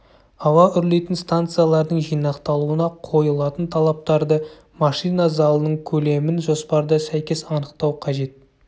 ауа үрлейтін станциялардың жинақталуына қойылатын талаптарды машина залының көлемін жоспарда сәйкес анықтау қажет